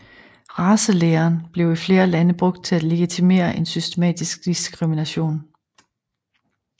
Racelæren blev i flere lande brugt til at legitimere en systematisk diskrimination